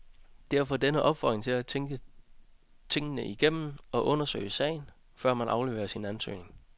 Derfor denne opfordring til at tænke tingene igennem, og undersøge sagen, før man afleverer sin ansøgning.